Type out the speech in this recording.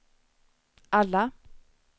alla